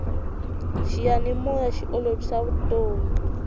xiyanimoya xi olovisa vutomi